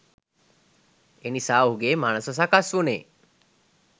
එනිසා ඔහුගේ මනස සකස් වුණේ